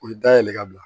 U bɛ dayɛlɛ ka bila